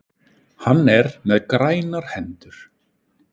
Hann er með grænar hendur.